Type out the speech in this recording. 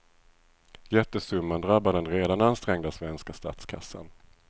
Jättesumman drabbar den redan ansträngda svenska statskassan.